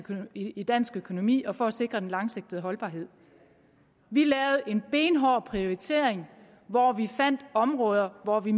i dansk økonomi og for at sikre den langsigtede holdbarhed vi lavede en benhård prioritering hvor vi fandt områder hvor vi